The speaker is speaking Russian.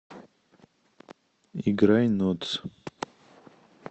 играй нотц